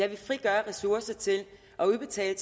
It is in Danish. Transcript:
at vi frigør ressourcer til at udbetale